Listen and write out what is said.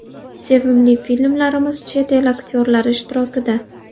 Sevimli filmlarimiz chet el aktyorlari ishtirokida .